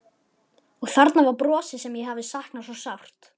Og þarna var brosið sem ég hafði saknað svo sárt.